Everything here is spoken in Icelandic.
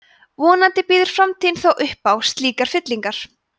vonandi býður framtíðin þó upp á slíkar fyllingar